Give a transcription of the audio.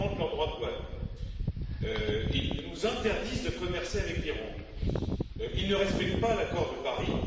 Ils augmentent leurs droits de douane, ils nous interdisent de commercer avec l'Iran, ils ne respectent pas l'accord de Paris.